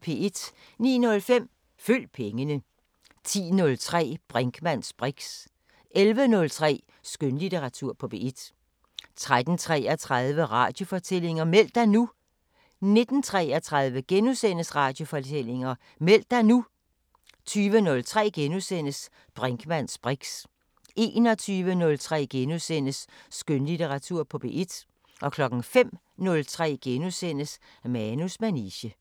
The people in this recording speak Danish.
09:05: Følg pengene 10:03: Brinkmanns briks 11:03: Skønlitteratur på P1 13:33: Radiofortællinger: Meld dig nu! 19:33: Radiofortællinger: Meld dig nu! * 20:03: Brinkmanns briks * 21:03: Skønlitteratur på P1 * 05:03: Manus manege *